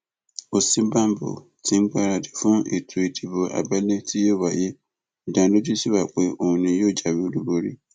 òsínbàbò tí ń gbáradì fún ètò ìdìbò abẹlé tí tí yóò wáyé ìdánilójú sí wa pé òun ni yóò jáwé olúborí